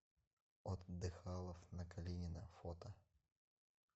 отдыхалов на калинина фото